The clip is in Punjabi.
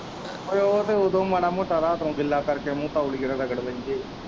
ਉਹ ਤੇ ਉਦੋਂ ਹੀ ਮਾੜਾ ਮੋਟਾ ਰਾਤ ਨੂੰ ਗਿਲਾ ਕਰਕੇ ਮੂੰਹ ਤੋਲੀਏ ਨਾਲ ਰਗੜ ਲੈਂਦੇ ਹੈ।